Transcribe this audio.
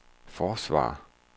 forsvare